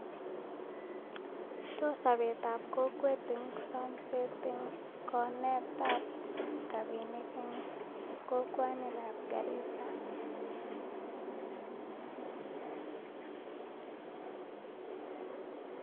Tos Sabet ab kokwet en samset en konet ab rabinik kokwani ab garisa